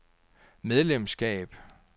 medlemskab